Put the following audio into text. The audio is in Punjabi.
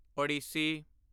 ਓਡੀਸੀ